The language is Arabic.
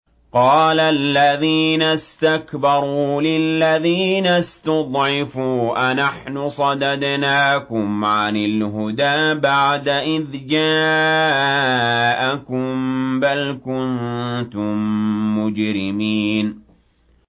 قَالَ الَّذِينَ اسْتَكْبَرُوا لِلَّذِينَ اسْتُضْعِفُوا أَنَحْنُ صَدَدْنَاكُمْ عَنِ الْهُدَىٰ بَعْدَ إِذْ جَاءَكُم ۖ بَلْ كُنتُم مُّجْرِمِينَ